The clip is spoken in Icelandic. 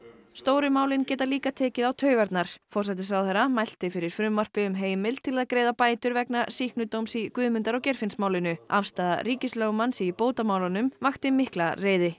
stóru málin geta líka tekið á taugarnar forsætisráðherra mælti fyrir frumvarpi um heimild til að greiða bætur vegna sýknudóms í Guðmundar og Geirfinnsmálinu afstaða ríkislögmanns í bótamálunum vakti mikla reiði